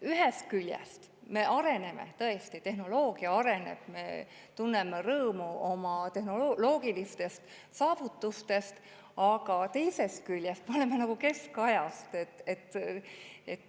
Ühest küljest me areneme, tõesti, tehnoloogia areneb, me tunneme rõõmu oma tehnoloogilistest saavutustest, aga teisest küljest me elame nagu keskajas.